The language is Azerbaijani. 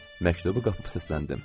Məktubu qapıb səsləndim.